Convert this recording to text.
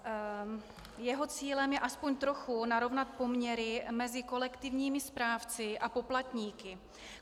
Jeho cílem je aspoň trochu narovnat poměry mezi kolektivními správci a poplatníky.